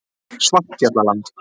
Svartfjallaland